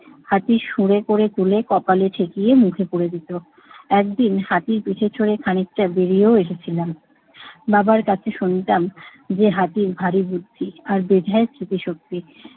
হাতির সুরে করে তোলে কপালে ঠেকিয়ে মুখে পুরে দিত। একদিন হাতির পিঠে চড়ে খানিকটা বেড়িয়েও এসেছিলাম। বাবার কাছে শুনতাম যে, হাতির ভারী বুদ্ধি, আর বেজায় স্মৃতিশক্তি।